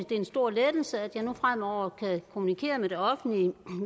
det er en stor lettelse at jeg nu fremover kan kommunikere med det offentlige